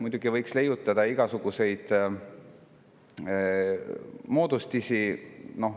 Muidugi võiks leiutada igasuguseid moodustisi.